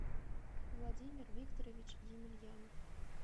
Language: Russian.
владимир викторович емельянов